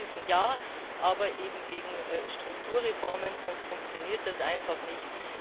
Das heißt Hilfen ja, aber eben gegen Strukturreformen, sonst funktioniert das einfach nicht.